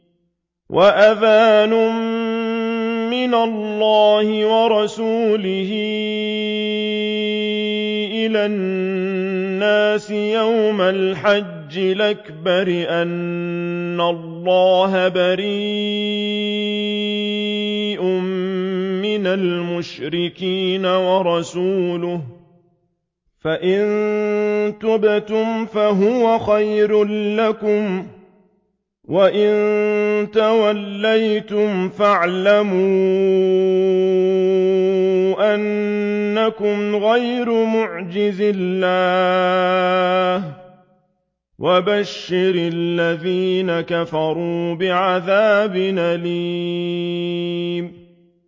وَأَذَانٌ مِّنَ اللَّهِ وَرَسُولِهِ إِلَى النَّاسِ يَوْمَ الْحَجِّ الْأَكْبَرِ أَنَّ اللَّهَ بَرِيءٌ مِّنَ الْمُشْرِكِينَ ۙ وَرَسُولُهُ ۚ فَإِن تُبْتُمْ فَهُوَ خَيْرٌ لَّكُمْ ۖ وَإِن تَوَلَّيْتُمْ فَاعْلَمُوا أَنَّكُمْ غَيْرُ مُعْجِزِي اللَّهِ ۗ وَبَشِّرِ الَّذِينَ كَفَرُوا بِعَذَابٍ أَلِيمٍ